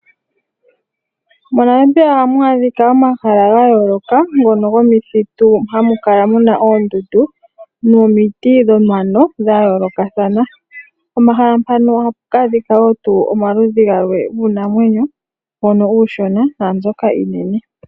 MoNamibia oha mu adhika omahala ga yooloka ngono gomithitu hamu kala mu na oondundu nomiti dhomano dha yoolokathana, pomahala mpano oha pu adhika wo omaludhi galwe giinamwenyo mbono uushona naa mbyoka iinene.